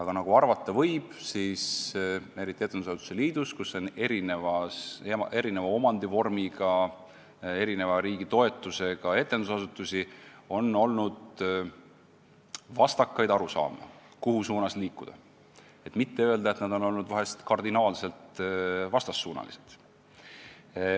Aga nagu arvata võib, on etendusasutuste liidus, kuhu kuulub erineva omandivormiga ja erineva riigitoetusega asutusi, olnud vastakaid arusaamu, kuhu suunas liikuda – et mitte öelda, et arvamused on vahel olnud kardinaalselt vastassuunalised.